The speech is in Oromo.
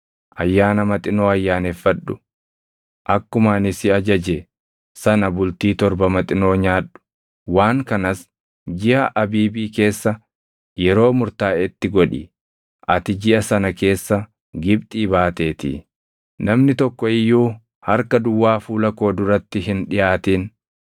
“Ayyaana Maxinoo Ayyaaneffadhu; akkuma ani si ajaje sana bultii torba Maxinoo nyaadhu. Waan kanas jiʼa Abiibii keessa yeroo murtaaʼetti godhi; ati jiʼa sana keessa Gibxii baateetii. “Namni tokko iyyuu harka duwwaa fuula koo duratti hin dhiʼaatin.